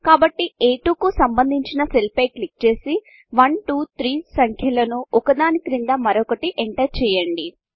కాబట్టి అ2 కు సంబంధించిన సెల్ పై క్లిక్ చేసి 123 సంఖ్యలను ఒక దాని క్రింద మరొకటి ఎంటర్ చేయండి